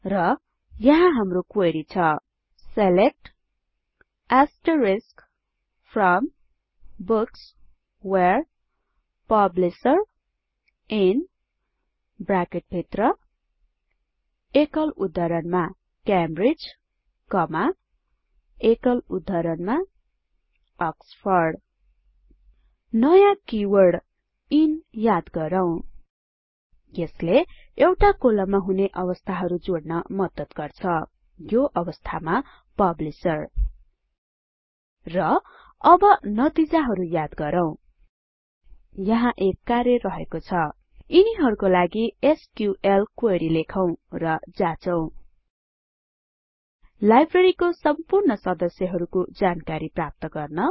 र यहाँ हाम्रो क्वेरी छ select from books where publisher in Cambridge Oxford नयाँ किवर्ड इन याद गरौँ यसले एउटा कोलममा हुने अवस्थाहरु जोड्न मद्दत गर्छ यो अवस्थामा पब्लिशर र अब नतिजाहरु याद गरौँ यहाँ एक कार्य रहेको छ यिनीहरुको लागि एसक्यूएल क्वेरी लेखौं र जाचौं १Library को सम्पूर्ण सदस्यहरुको जानकारी प्राप्त गर्न